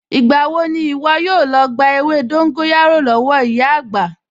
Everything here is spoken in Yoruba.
Ìgbà wo ni ìwọ yóò lọ gba ewé dóńgóyárò lọ́wọ́ ìyá àgbà?